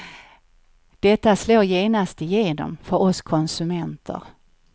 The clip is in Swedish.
Detta slår genast igenom för oss konsumenter.